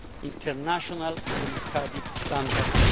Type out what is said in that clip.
international democratic standards.